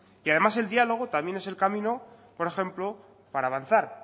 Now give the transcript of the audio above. y además el diálogo también es el camino por ejemplo para avanzar